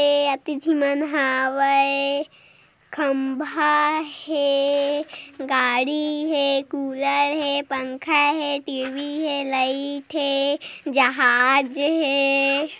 ऐ अति झी मन हावे खम्बा हे गाड़ी हे कूलर हे पंखा हे टी_वी हे लाइट हे जहाज़ हे।